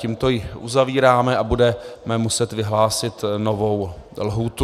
Tímto ji uzavíráme a budeme muset vyhlásit novou lhůtu.